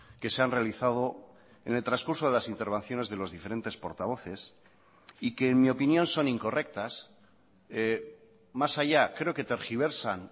que se han realizado en el transcurso de las intervenciones de los diferentes portavoces y que en mi opinión son incorrectas más allá creo que tergiversan